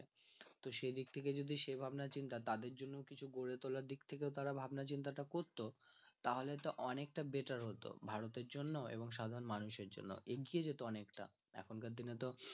তো সেদিক থেকে যদি সে ভাবনা চিন্তা তাদের জন্য কিছু গড়ে তোলার দিক থেকে তারা ভাবনা চিন্তা টা করত তাহলে তো অনেকটা better হত ভারতের জন্য এবং সাধারণ মানুষের জন্য এগিয়ে যেত অনেকটা এখানকার দিনে তো